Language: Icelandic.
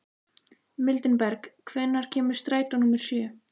Mildinberg, hvenær kemur strætó númer sjö?